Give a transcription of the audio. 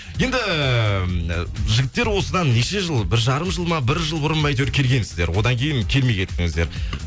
енді жігіттер осыдан неше жыл бір жарым жыл ма бір жыл бұрын ба әйтеуір келгеңсіздер одан кейін келмей кеттініздер